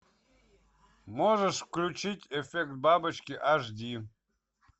можешь включить эффект бабочки аш ди